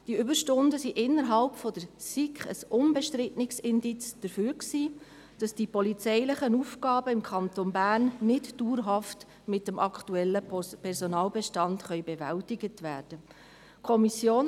Diese Überstunden waren innerhalb der SiK ein unbestrittenes Indiz dafür, dass die polizeilichen Aufgaben im Kanton Bern nicht dauerhaft mit dem aktuellen Personalbestand bewältigt werden können.